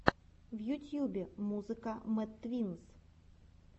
в ютьюбе музыка мэд твинз